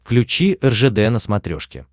включи ржд на смотрешке